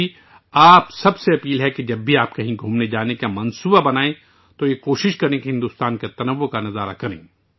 میں آپ سبھی سے گزارش کرتا ہوں کہ جب بھی آپ کہیں جانے کا ارادہ کریں تو بھارت کے تنوع کو دیکھنے کی کوشش کریں